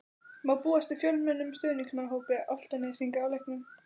Má búast við fjölmennum stuðningsmannahópi Álftnesinga á leiknum?